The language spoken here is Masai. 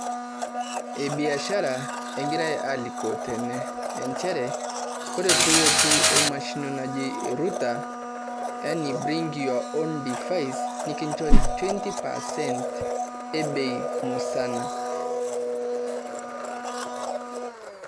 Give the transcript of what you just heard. biashara egirae alikoo tene, inchere ore pilotu oo mashini naji router, yaani bring your own divice nikinjori 20% ee bei musana.